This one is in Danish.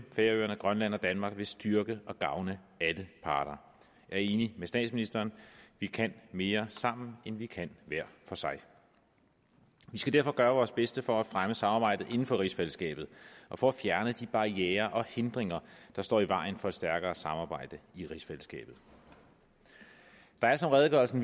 færøerne grønland og danmark vil styrke og gavne alle parter jeg er enig med statsministeren vi kan mere sammen end vi kan hver for sig vi skal derfor gøre vores bedste for at fremme samarbejdet inden for rigsfællesskabet og for at fjerne de barrierer og hindringer der står i vejen for et stærkere samarbejde i rigsfællesskabet der er som redegørelsen